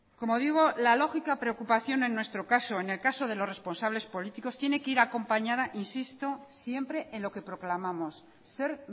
como digo la lógica preocupación en nuestro caso en el caso de los responsables políticos tiene que ir acompañada insisto siempre en lo que proclamamos ser